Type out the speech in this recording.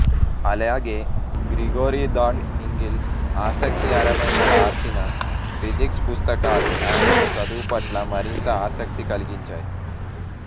అలాగే గ్రిగోరీ ధాండ్ ఇంగిల్ ఆసక్తిఅరమైన వ్రాసిన ఫిజిక్స్ పుస్తకాలు ఆమెకు చదువుపట్ల మరింత ఆసక్తి కలిగించాయి